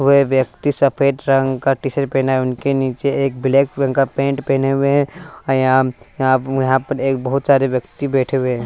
वे व्यक्ति सफेद रंग का टी सट पेहना है उनके नीचे एक ब्लैक रंग का पैंट पेहने हुए हैं और यहां यहां प यहां पर एक बहुत सारे व्यक्ति बैठे हुए हैं।